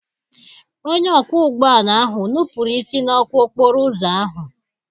Onye ọkwọ ụgbọ ala ahụ nupụrụ isi n'ọkụ okporo ụzọ ahụ.